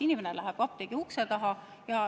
Inimene läheb apteegi ukse taha.